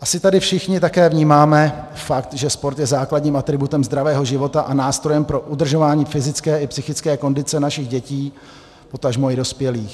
Asi tady všichni také vnímáme fakt, že sport je základním atributem zdravého života a nástrojem pro udržování fyzické i psychické kondice našich dětí, potažmo i dospělých.